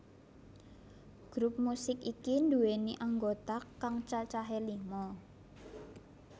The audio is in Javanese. Grup musik iki nduwèni anggota kang cacahé lima